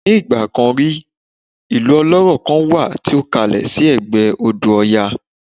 Nigba kan rí, ilu ọlọ́rọ̀ kan wà tí ó kalẹ̀ sí ẹ̀gbẹ́ odò oya